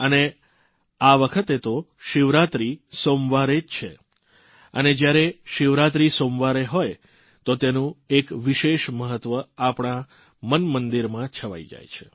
અને આ વખતે તો શિવરાત્રી સોમવારે છે અને જયારે શિવરાત્રી સોમવારે હો તો તેનું એક વિશેષ મહત્વ આપણા મનમંદિરમાં છવાઇ જાય છે